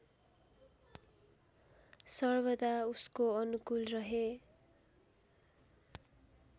सर्वदा उसको अनुकूल रहे